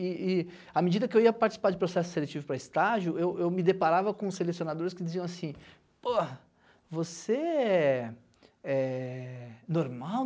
E e à medida que eu ia participar de processo seletivo para estágio, eu eu me deparava com selecionadores que diziam assim, pô, você é normal?